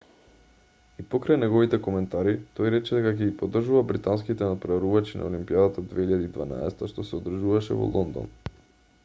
и покрај неговите коментари тој рече дека ќе ги поддржува британските натпреварувачи на олимпијадата 2012 што се одржуваше во лондон